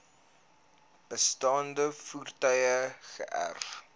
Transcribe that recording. bestaande voertuie geërf